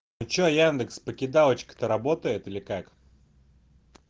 что индекс покидалочка то работает или как